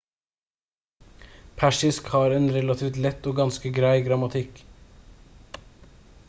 persisk har en relativt lett og ganske grei grammatikk